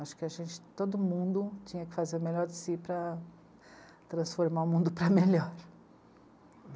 Acho que a gente, todo mundo tinha que fazer o melhor de si para transformar o mundo para melhor.